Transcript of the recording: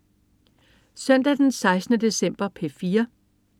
Søndag den 16. december - P4: